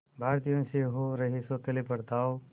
भारतीयों से हो रहे सौतेले बर्ताव